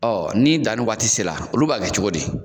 Ɔ ni danni wagati sera olu b'a kɛ cogo di